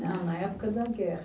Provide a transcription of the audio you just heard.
Não, na época da guerra.